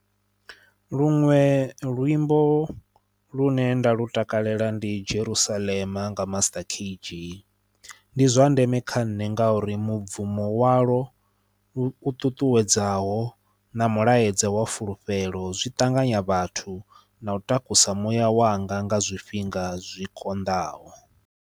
Luṅwe luimbo lune nda lu takalela ndi Jerusalem nga MasterKG. Ndi zwa ndeme kha nṋe ngauri mubvumo walo u ṱuṱuwedzaho na mulaedza wa fulufhelo zwi ṱanganya vhathu na u takusa muya wanga nga zwifhinga zwikonḓaho.